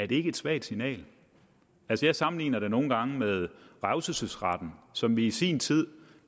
det er et svagt signal altså jeg sammenligner det nogle gange med revselsesretten som vi i sin tid